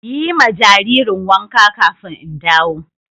Yi ma jaririn wanka ƙafin in dawo.